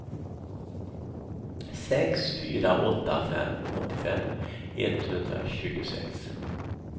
sex fyra åtta fem åttiofem etthundratjugosex